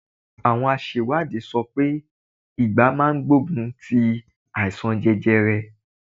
Àwọn àṣèwádìí sọ pé ìgbá máa gbogun ti àìsàn jẹjẹrẹ.